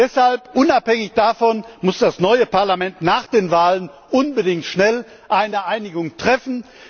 können! Deshalb muss unabhängig davon das neue Parlament nach den Wahlen unbedingt schnell eine Einigung